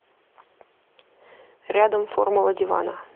рядом формула дивана